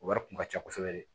O wari kun ka ca kosɛbɛ de